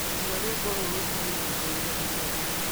iga rwĩmbo rũrũ harĩ nyĩmbo iria nyendete